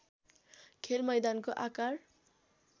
खेलमैदानको आकार